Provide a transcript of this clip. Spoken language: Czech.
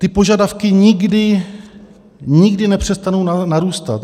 Ty požadavky nikdy, nikdy nepřestanou narůstat.